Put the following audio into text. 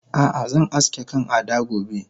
Ah ah zan aske kan Ada gobe